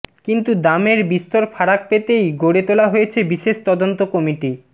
কিন্তু দামের বিস্তর ফারাক পেতেই গড়ে তোলা হয়েছে বিশেষ তদন্ত কমিটি